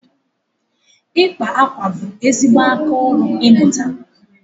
ịkpa akwa bụ ezigbo aka ịmụta